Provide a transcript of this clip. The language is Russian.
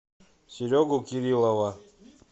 серегу кириллова